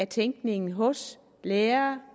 tænkningen hos lærere